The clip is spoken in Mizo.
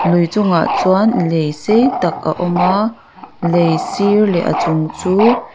lui chungah chuan lei sei tak a awm a lei sir leh a chung chu--